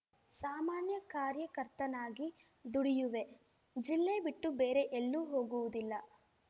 ಸಾಮಾನ್ಯ ಕಾರ್ಯಕರ್ತನಾಗಿ ದುಡಿಯುವೆ ಜಿಲ್ಲೆ ಬಿಟ್ಟು ಬೇರೆ ಎಲ್ಲೂ ಹೋಗುವುದಿಲ್ಲ